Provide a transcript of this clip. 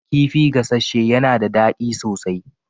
Kifi gasasshe yana da daɗi sosai.